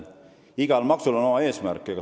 Igal maksul on oma eesmärk.